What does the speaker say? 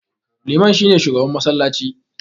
Liman shi ne shugaban massalaci.